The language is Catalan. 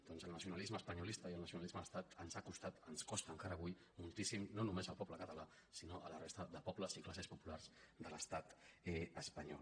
doncs el nacionalisme espanyolista i el nacionalisme d’estat ens costa encara avui moltíssim no només al poble català sinó a la resta de pobles i classes populars de l’estat espanyol